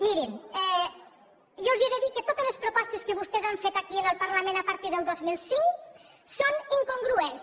mirin jo els he de dir que totes les propostes que vostès han fet aquí al parlament a partir del dos mil cinc són incongruents